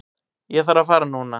Ég þarf að fara núna